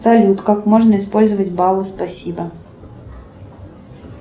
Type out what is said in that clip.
салют как можно использовать баллы спасибо